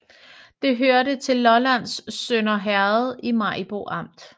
Det hørte til Lollands Sønder Herred i Maribo Amt